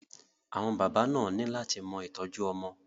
Àwọn bàbá náà ni lát mọ ìtọ́jú ọmọ.